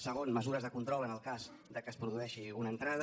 segon mesures de control en el cas que es produeixi una entrada